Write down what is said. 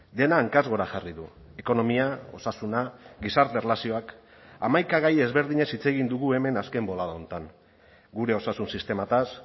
dena hankaz gora jarri du ekonomia osasuna gizarte erlazioak hamaika gai ezberdinez hitz egin dugu hemen azken bolada honetan gure osasun sistemaz